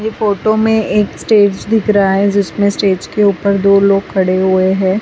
ये फोटो में एक स्टेज दिख रहा है जिसमें स्टेज के ऊपर दो लोग खड़े हुए हैं।